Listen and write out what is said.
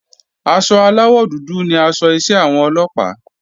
Aṣọ aláwọ̀ dúdú ni aṣọ iṣẹ́ àwọn Ọlọ́pàá